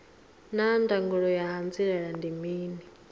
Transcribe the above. naa ndangulo ya hanziela ndi mini